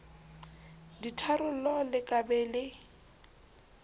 ditharollo le ka be le